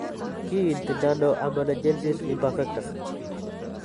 Kiinti nano amelogenesis imperfecta?